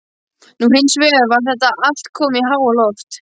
Nú hins vegar var þetta allt komið í háaloft.